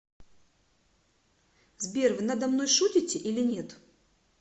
сбер вы надо мной шутите или нет